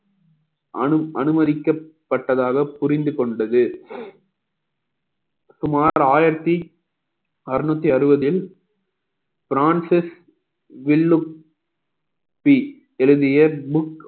அனு~ அனுமதிக்கப்பட்டதாக புரிந்து கொண்டது சுமார் ஆயிரத்தி அறநூத்தி அறுபதில் பிரான்சிஸ் வெல்லும் எழுதிய book